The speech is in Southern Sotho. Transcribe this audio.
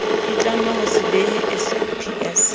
itlama ho se behe saps